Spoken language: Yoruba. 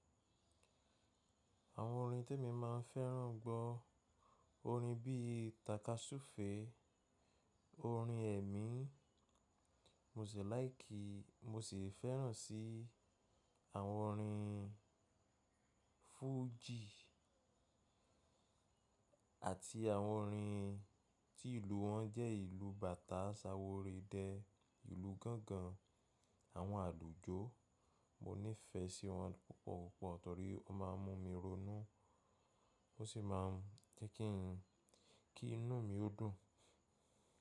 Àwọn orin te mi máa ń fẹ́ràn gbọ́ orin bí i takasufe, orin ẹ̀mí, mosi láìkì mo sì fẹ́ràn sí àwọn orin fújì àti àwọn orin tí ìlú wọn jẹ́ ìlú bàtá saworidẹ́ ìlú gángan àwọn àlùjọ. Mo nífẹ̀ẹ́ sí wọn púpọ̀ púpọ̀ torí ó máa ń mú mi ronú ó sì máa ń jẹ́ kí ń kí inú mi ó dùn.